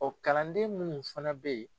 kalanden minnu fana bɛ yen.